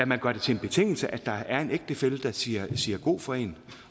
man gør det til en betingelse at der er en ægtefælle der siger siger god for en